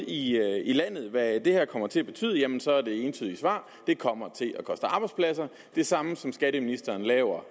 i landet hvad det her kommer til at betyde så er det entydigt svar det kommer til at koste arbejdspladser det samme som skatteministeren laver